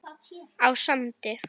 á Sandi.